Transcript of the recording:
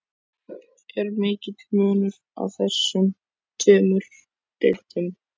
Er mikill munur á þessum tveimur deildum?